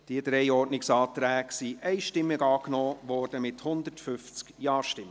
Diese drei Ordnungsanträge wurden einstimmig angenommen, mit 150 Ja-Stimmen.